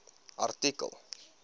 artikel